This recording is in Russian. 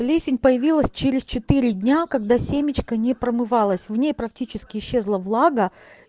плесень появилась через четыре дня когда семечка не промывалась в ней практически исчезла влага